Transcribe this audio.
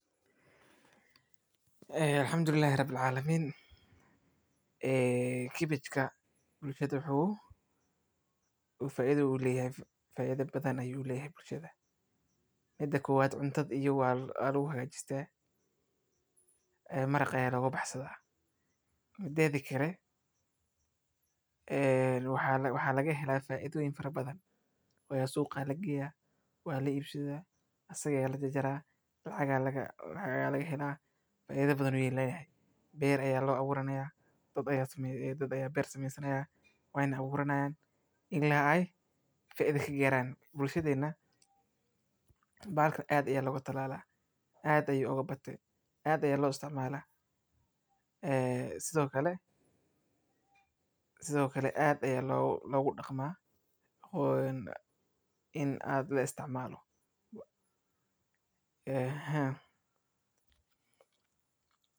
Waxaana loo isticmaalaa in lagu darsado cuntada maalinlaha ah, sida maraq, canjeero, iyo bariis, si loo koriso sukuma wiki waa in la doorto meel qorrax leh oo laami ah oo ay biyuhu si fiican uga baxaan, waxaana lagu talinayaa in la beero carrada xilli roobka ka dib marka ay cawska ugu fiican tahay, waxaana looga baahan yahay in la ilaaliyo xuunta iyo cayayaanka kale ee ka dhibaataysan kara khudaarta, sida bacrimada iyo duxda, waxaana lagu daraa si toos ah ama lagu kala beero, waxaana loo maleynayaa in la siiyo biyo joogto ah oo aan la dhibin, gaar ahaan marka ay caleentuna yihiin mid cusub, waxaana lagu talinayaa in la isticmaalo dabiici ah oo aan la isticmaalin kemikalka dhirta dhaawaca.